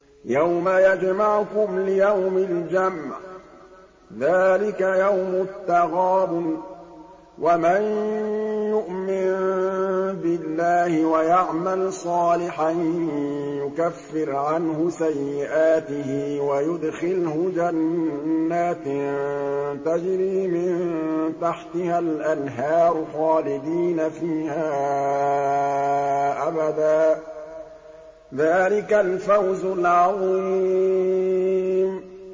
يَوْمَ يَجْمَعُكُمْ لِيَوْمِ الْجَمْعِ ۖ ذَٰلِكَ يَوْمُ التَّغَابُنِ ۗ وَمَن يُؤْمِن بِاللَّهِ وَيَعْمَلْ صَالِحًا يُكَفِّرْ عَنْهُ سَيِّئَاتِهِ وَيُدْخِلْهُ جَنَّاتٍ تَجْرِي مِن تَحْتِهَا الْأَنْهَارُ خَالِدِينَ فِيهَا أَبَدًا ۚ ذَٰلِكَ الْفَوْزُ الْعَظِيمُ